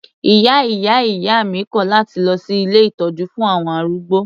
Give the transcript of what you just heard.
Ìyá ìyá ìyá mi kò láti lọ sí ilé ìtọ́jú fún àwọn arúgbó.